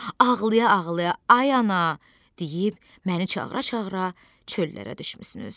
Ağlaya-ağlaya ay ana deyib məni çağıra-çağıra çöllərə düşmüsünüz.